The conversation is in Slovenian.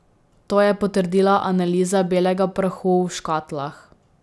To je potrdila analiza belega prahu v škatlah.